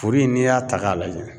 Furu in n'i y'a ta k'a lajɛ